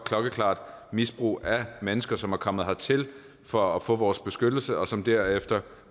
klokkeklart misbrug af mennesker som er kommet hertil for at få vores beskyttelse og som derefter